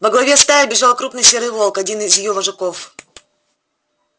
во главе стаи бежал крупный серый волк один из её вожаков